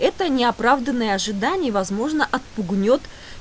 это неоправданное ожидание возможно отпугнёт